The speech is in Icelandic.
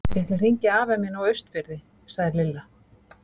Ég ætla að hringja í afa minn á Austurfirði sagði Lilla.